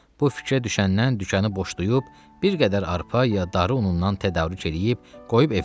Bu fikrə düşəndən dükanı boşlayıb, bir qədər arpa ya unundan tədarük eləyib qoyub evinə.